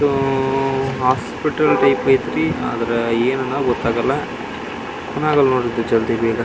ಇದುಉಉ hospital type ಐತ್ರಿ ಆದ್ರೆ ಏನ್ ಅಂತ ಗೊತ್ತಾಗಲ್ಲ --